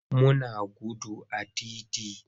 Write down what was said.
Muna gudu a titi.